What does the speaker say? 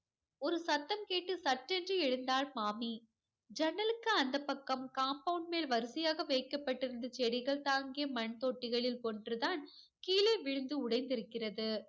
ஒரு சத்தம் கேட்டு சட்டென்று எழுந்தாள் மாமி. ஜன்னலுக்கு அந்தப் பக்கம் compound மேல் வரிசையாக வைக்கப்பட்டுருந்த செடிகள் தாங்கிய மண் தொட்டிகளில் ஒன்று தான் கீழே விழுந்து உடைந்திருக்கிறது.